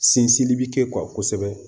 Sinsinni bi kɛ kosɛbɛ